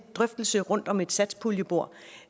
drøftelse rundt om et satspuljebord